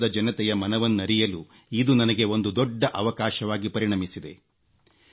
ದೇಶದ ಜನತೆಯ ಮನವನ್ನರಿಯಲು ಇದು ನನಗೆ ಒಂದು ದೊಡ್ಡ ಅವಕಾಶವಾಗಿ ಪರಿಣಮಿಸಿದೆ